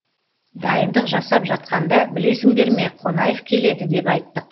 дайындық жасап жатқанда білесіңдер ме қонаев келеді деп айттық